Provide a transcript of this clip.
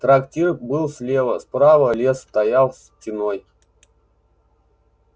трактир был слева справа лес стоял стеной